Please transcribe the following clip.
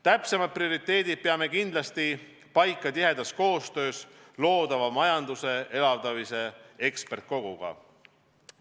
Täpsemad prioriteedid peame kindlasti paika panema tihedas koostöös loodava majanduse elavdamise ekspertkoguga.